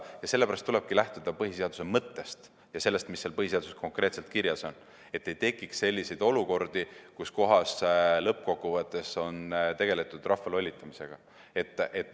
Sellepärast tulebki lähtuda põhiseaduse mõttest ja sellest, mis põhiseaduses konkreetselt kirjas on, et ei tekiks selliseid olukordi, kus lõppkokkuvõttes on tegeletud rahva lollitamisega.